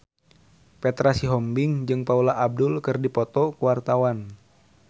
Petra Sihombing jeung Paula Abdul keur dipoto ku wartawan